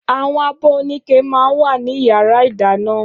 Áwòn ábò óniké mà n wá ni iyàrá idàná